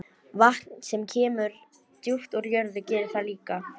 Vatn sem kemur djúpt úr jörð gerir það líka.